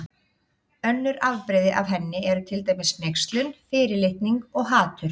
Önnur afbrigði af henni eru til dæmis hneykslun, fyrirlitning og hatur.